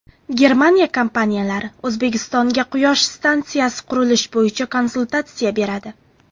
Germaniya kompaniyalari O‘zbekistonga quyosh stansiyasi qurilishi bo‘yicha konsultatsiya beradi.